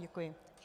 Děkuji.